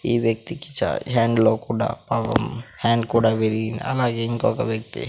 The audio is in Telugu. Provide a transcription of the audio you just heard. ఈ వ్యక్తికి చా హ్యాండ్ లో కూడా పాపం హ్యాండ్ కూడా విరిగింది. అలాగే ఇంకొక వ్యక్తి --